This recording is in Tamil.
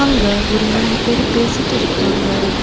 இங்க ஒரு மூணு பேர் பேசிட்ருக்காங்க.